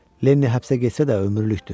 Lenni həbsə getsə də ömürlükdür.